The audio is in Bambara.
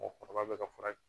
Mɔgɔkɔrɔba bɛ ka fura